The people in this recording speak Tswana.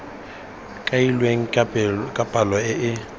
kailweng ka palo e e